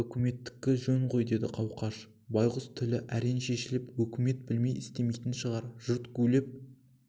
үкіметтікі жөн ғой деді қауқаш байғұс тілі әрең шешіліп өкімет білмей істемейтін шығар жұрт гулеп